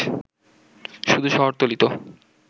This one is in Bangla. শুধু শহরতলী তো